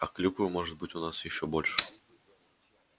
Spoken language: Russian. а клюквы может быть у нас ещё больше будет